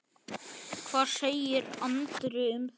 Hvað segir Andri um það?